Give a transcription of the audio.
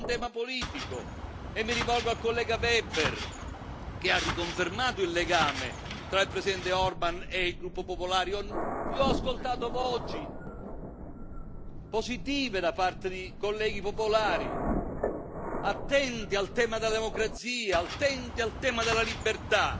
Poi c'è un tema politico, e mi rivolgo al collega Weber che ha riconfermato il legame tra il Presidente Orban e il gruppo dei popolari. Io ho ascoltato voci positive da parte dei colleghi popolari attenti al tema della democrazia, attenti al tema della libertà.